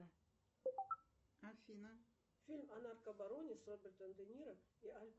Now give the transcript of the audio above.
алиса покажи на карте сбербанка остаток на счете